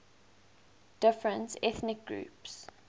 different ethnic groups